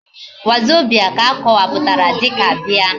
wazobia ka akowaputara dika bia